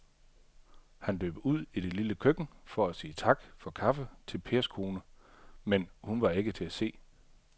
Han løb ud i det lille køkken for at sige tak for kaffe til Pers kone, men hun var ikke til at se.